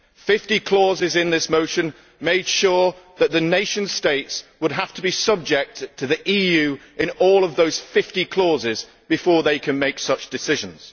Fifty clauses in this motion made sure that the nation states would have to be subject to the EU in all of those 50 clauses before they could make such decisions.